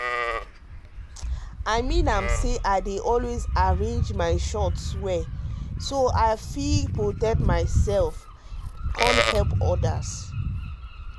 i mean am say i dey always arrange my shot well so i go fit protect myself and help others